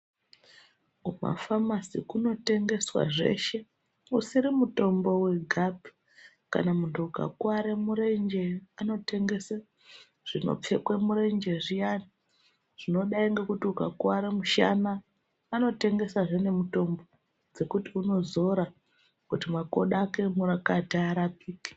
Kumafamasi kunotengeswa zveshe, usiri mutombo wegapi. Kana muntu ukakuvare murenje anotengese zvinopfekwe murenje zviyani. Zvinodayi ngekuti ukakuvare mushana, anotengesazve nemutombo dzekuti unozora kuti makodo ake emurakati arapike.